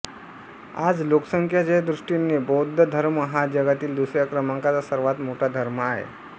आज लोकसंख्येच्या दृष्टीने बौद्ध धर्म हा जगातील दुसऱ्या क्रमांकाचा सर्वात मोठा धर्म आहे